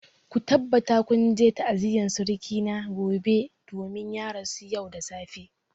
Ku tabbata kun je ta'aziyar suruki na gobe domin ya rasu yau da safe!